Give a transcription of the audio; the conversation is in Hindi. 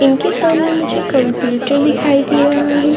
इनके सामने मुझे कंप्युटर दिखाई दे रहा है।